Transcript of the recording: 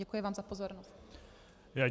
Děkuji vám za pozornost.